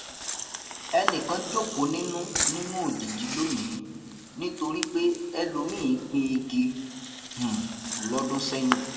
ẹnìkan jókòó nínú nínú òjìji lónìí nítorí pé ẹlòmíì gbin igi um lọdún sẹyìn